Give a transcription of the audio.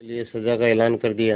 उसके लिए सजा का ऐलान कर दिया